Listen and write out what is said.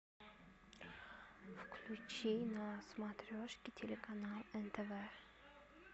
включи на смотрешке телеканал нтв